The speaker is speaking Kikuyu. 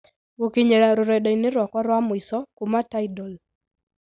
Gũkinyĩria rũrenda-inĩ rwakwa rwa mũico kuuma tidal